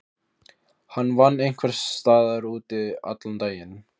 Endurheimtur á laxi til stöðvarinnar hafa farið minnkandi.